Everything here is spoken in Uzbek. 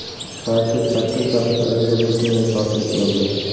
Partiya sakkiz daqiqa ichida butunlay sotilib bo‘ldi.